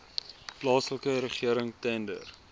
plaaslike regering tender